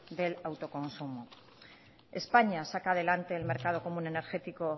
del autoconsumo españa saca adelante el mercado común energético